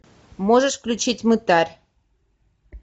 можешь включить мытарь